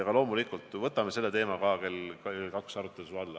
Aga loomulikult võtame ka selle teema kell 14 arutluse alla.